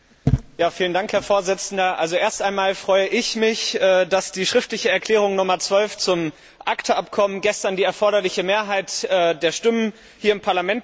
Herr Präsident! Also erst einmal freue ich mich, dass die schriftliche Erklärung Nr. 12 zum ACTA Abkommen gestern die erforderliche Mehrheit der Stimmen hier im Parlament bekommen hat.